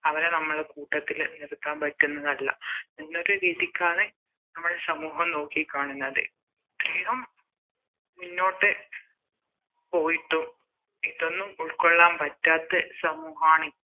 അവരെ നമ്മുടെ കൂട്ടത്തില് നിർത്താൻ പറ്റുന്നതല്ല എന്നൊരു രീതിക്കാണ് നമ്മളെ സമൂഹം നോക്കിക്കാണുന്നത് ഇത്രയും മുന്നോട്ട് പോയിട്ടും ഇതൊന്നും ഉൾക്കൊള്ളാൻ പറ്റാത്ത സമൂഹമാണി